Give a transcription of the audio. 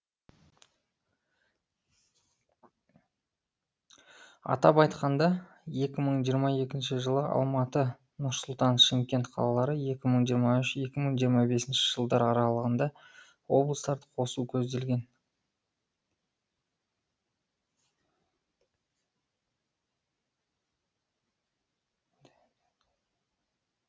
атап айтқанда екі мың жиырма екінші жылы алматы нұр сұлтан шымкент қалалары екі мың жиырма үш екі мың жиырма бесінші жылдар аралығында облыстарды қосу көзделген